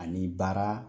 Ani baara